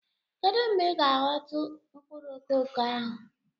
Kedu mgbe Ị ga-ahọtu mkpụrụ koko ahu?